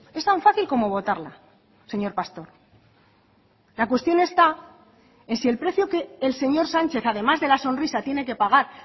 es tan fácil como votarla señor pastor la cuestión está en si el precio que el señor sánchez además de la sonrisa tiene que pagar